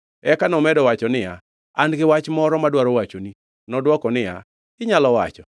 Eka nomedo wacho niya, “An gi wach moro madwaro wachoni.” Nodwoko niya, “Inyalo wacho.”